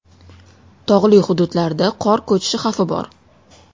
Tog‘li hududlarda qor ko‘chishi xavfi bor.